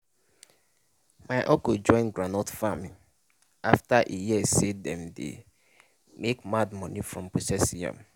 my uncle join groundnut farming after e hear say dem dey make mad money from processing am.